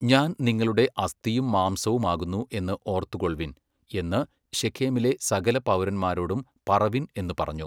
ഞാൻ നിങ്ങളുടെ അസ്ഥിയും മാംസവും ആകുന്നു എന്നു ഔർത്തുകൊൾവിൻ എന്നു ശെഖേമിലെ സകല പൗരന്മാരോടും പറവിൻ എന്നു പറഞ്ഞു.